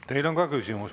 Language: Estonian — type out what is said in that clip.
Teile on ka küsimus.